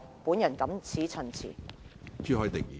我謹此陳辭。